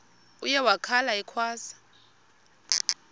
uye wakhala ekhwaza